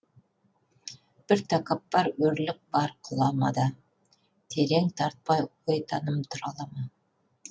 бір тәкаппар өрлік бар құламада терең тартпай ой таным тұра ала ма